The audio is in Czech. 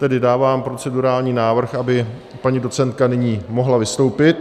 Tedy dávám procedurální návrh, aby paní docentka nyní mohla vystoupit.